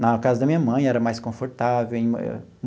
Na casa da minha mãe era mais confortável.